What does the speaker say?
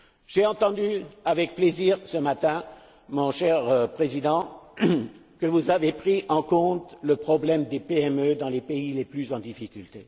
J'ai entendu avec plaisir ce matin, mon cher Président, que vous avez pris en compte le problème des PME dans les pays les plus en difficulté.